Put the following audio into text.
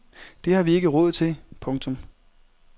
Det har vi ikke råd til. punktum